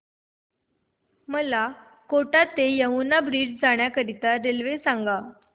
मला कोटा ते यमुना ब्रिज करीता रेल्वे सांगा